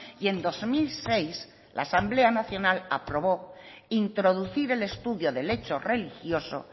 y en dos mil seis la asamblea nacional aprobó introducir el estudio del hecho religioso